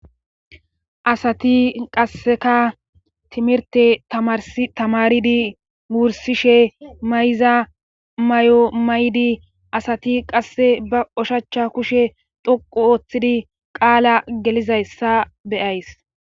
asati qasseka timirte tamaridi wursishe mayza may7o maydi asati qasse ba oshachcha kushe doqu ooththidi qaala gelizayssa beyays